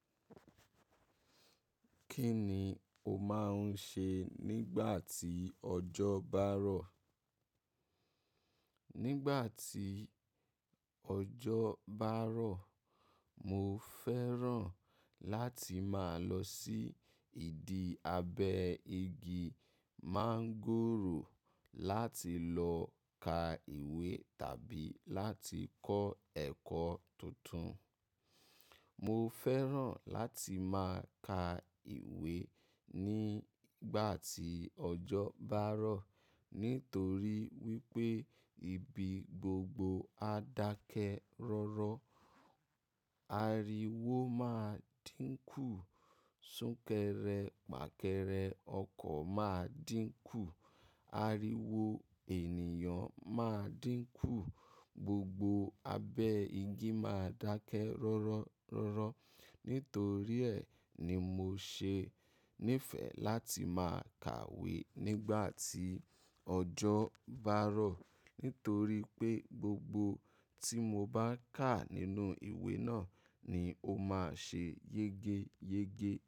Kí ni o máa ń ṣe nígbà tí ọjọ́ bá rọ̀? Nígbà tí ọjọ́ bá rọ̀, mo fẹ́ràn láti máa lọ sí ìdí abẹ́ igi máńgòrò láti lọ ka ìwé tàbí láti kọ́ ẹ̀kọ́ tuntun. Mo fẹ́ràn láti máa ka ìwé nígbà tí ọjọ́ bá rọ̀ nítorí wípé ibi gbogbo á dákẹ́ rọ́rọ́. Ariwo máa dínkù, súnkẹrẹ pàkẹrẹ ọkọ̀ máa dínkù, ariwo ènìyàn máa dínkù, gbogbo abẹ́ igi máa dákẹ́ rọ́rọ́ rọ́rọ́. Nítorí ẹ̀ ni mo ṣe nífẹ̀ẹ́ láti máa kàwé nígbà tí ọjọ́ bá rọ̀. Nítorí pé gbogbo tí mo bá kà nínú ìwé náà ni ó máa ṣe yege yege.